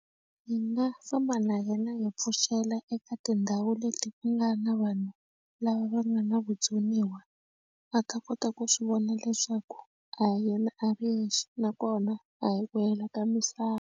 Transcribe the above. Hi nga famba na yena hi pfuxela eka tindhawu leti ku nga na vanhu lava va nga na vutsoniwa a ta kota ku swi vona leswaku a hi yena a ri yexe nakona a hi ku hela ka misava.